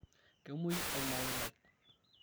kemuoi olmaoi lai